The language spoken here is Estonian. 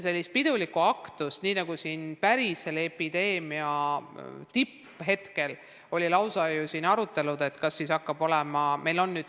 Aga nagu epideemia tippajal arutati, sellist ülipidulikku aktust tänavu ei tule tõesti.